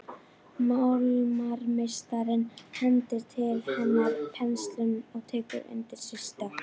Málarameistarinn hendir til hennar penslinum og tekur undir sig stökk.